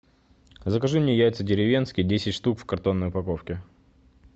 закажи мне яйца деревенские десять штук в картонной упаковке